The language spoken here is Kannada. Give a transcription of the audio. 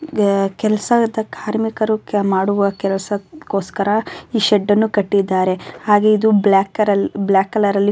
ನಮಗೆ ಕೆಲಸ ವಿದ್ದ್ದ ಕಾರ್ಮಿಕರು ಮಾಡುವ ಕೆಲಸಕ್ಕೋಸ್ಕರ ಈ ಶೆಡ್ ಅನ್ನು ಕಟ್ಟಿದ್ದಾರೆ ಹಾಗೆ ಇದು ಬ್ಲ್ಯಾಕ್ ಕ್ಲಲರ್ ಬ್ಲ್ಯಾಕ್ ಕಲರ್ ಅಲ್ಲಿ --